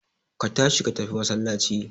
Ka tashi ka tafi masallaci